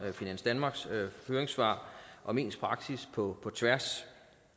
finans danmarks høringssvar om ens praksis på tværs